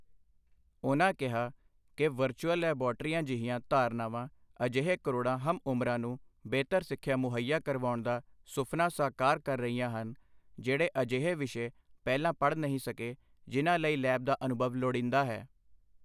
ਉਨ੍ਹਾਂ ਕਿਹਾ ਕਿ ਵਰਚੁਅਲ ਲੈਬੋਰੇਟਰੀਆਂ ਜਿਹੀਆਂ ਧਾਰਨਾਵਾਂ ਅਜਿਹੇ ਕਰੋੜਾਂ ਹਮਉਮਰਾਂ ਨੂੰ ਬਿਹਤਰ ਸਿੱਖਿਆ ਮੁਹੱਈਆ ਕਰਵਾਉਣ ਦਾ ਸੁਫ਼ਨਾ ਸਾਕਾਰ ਕਰ ਰਹੀਆਂ ਹਨ, ਜਿਹੜੇ ਅਜਿਹੇ ਵਿਸ਼ੇ ਪਹਿਲਾਂ ਪੜ੍ਹ ਨਹੀਂ ਸਕੇ, ਜਿਨ੍ਹਾਂ ਲਈ ਲੈਬ ਦਾ ਅਨੁਭਵ ਲੋੜੀਂਦਾ ਹੈ।